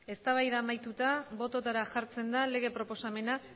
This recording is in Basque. eztabaida amaituta bototara jartzen da lege proposamena